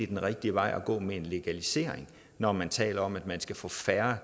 den rigtige vej at gå med en legalisering når man taler om at man skal få færre